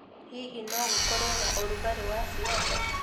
Hihi nogũkorwe na ũrugarĩ wa siasa